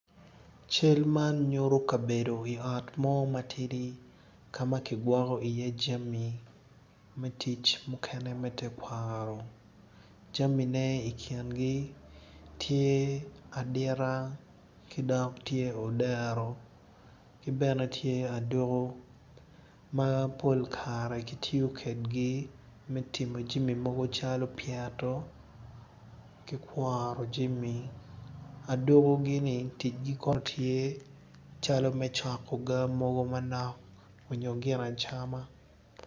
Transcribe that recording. Calle tye ka dano aryo ma gitye ka wot i yo bene gumako jami moni i cingi nen calo gityo kwede me kwan i pii onyo me wot i wi pii.